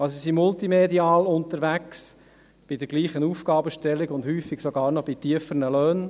Sie sind multimedial unterwegs, bei derselben Aufgabenstellung und häufig sogar bei tieferen Löhnen.